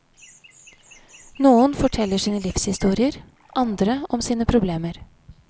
Noen forteller sine livshistorier, andre om sine problemer.